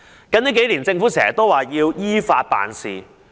近年，政府經常表示要依法辦事。